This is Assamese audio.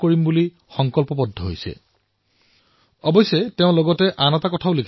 ভেংকটজীয়ে কৈছে যে আমি অজানিতে বহু এনে বিদেশী সামগ্ৰীৰ ব্যৱৰহাৰ কৰো যাৰ বিকল্প অতি সহজেই ভাৰতত উপলব্ধ